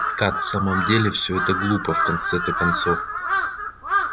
как в самом деле всё это глупо в конце-то концов